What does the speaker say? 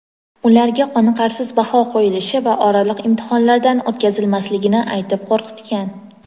ularga qoniqarsiz baho qo‘yilishi va oraliq imtihonlardan o‘tkazilmasligini aytib qo‘rqitgan.